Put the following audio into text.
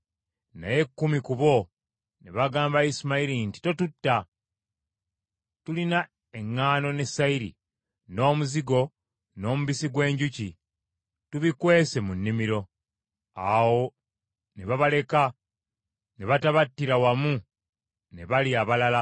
Naye kkumi ku bo ne bagamba Isimayiri nti, “Totutta! Tulina eŋŋaano ne sayiri, n’omuzigo, n’omubisi gw’enjuki, tubikwese mu nnimiro.” Awo ne babaleka ne batabattira wamu na bali abalala.